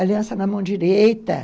Aliança na mão direita.